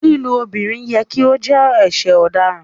Lílú obìrín yẹ̀ kí o jẹ̀ ẹṣẹ̀ ọ̀dáràn